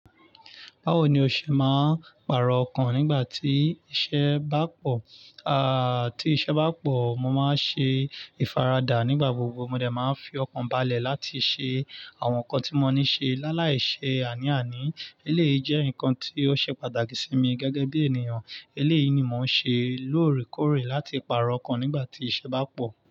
Báwo ni o ṣe máa ń pàrọ̀ ọkàn nígbà tí iṣẹ́ bá pọ̀? Aà, tí iṣẹ́ bá pọ̀, mo máa ń ṣe ìfaradà nígbà gbogbo. Mo dẹ̀ máa ń fi ọkàn balẹ̀ láti ṣe àwọn nǹkan tí mo ní ṣe. Láàláì ṣe àní àní, eléyìí jẹ́ nǹkan tí ó ṣe pàtàkì sí mi gẹ́gẹ́ bí ènìyàn. Eléyìí ni mò ń ṣe lóòrèkóòrè láti pàrọ̀ ọkàn nígbà tí iṣẹ́ bá pọ̀.